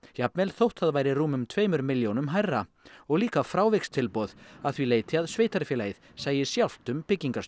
jafnvel þótt það væri rúmum tveimur milljónum hærra og líka frávikstilboð að því leyti að sveitarfélagið sæi sjálft um